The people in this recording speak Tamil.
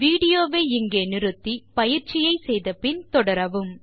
வீடியோ வை நிறுத்தி பயிற்சியை முடித்த பின் தொடரவும்